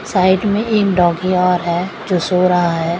Side मे एक doggy और है जो सो रहा है।